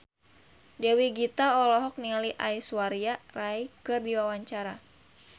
Dewi Gita olohok ningali Aishwarya Rai keur diwawancara